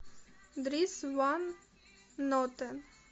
дрис ван нотен